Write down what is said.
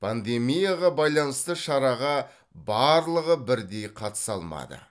пандемияға байланысты шараға барлығы бірдей қатыса алмады